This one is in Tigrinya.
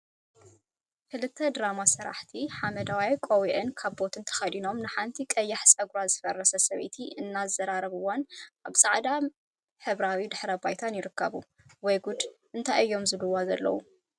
ክልተ ድራማ ሰራሕቲ ሓመደዋይ ቆቢዕን ካቦትን ተከዲኖም ንሓንቲ ቀያሕ ፀጉራ ዝፈረዘት ሰበይቲ እናዛረብዋን አብ ፃዕዳ ሕብራዊ ድሕረ ባይታን ይርከቡ፡፡ ወይ ጉድ እንታይ እዮም ዝብልዋ ዘለው?